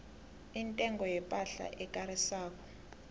intengo yepahla ekarisako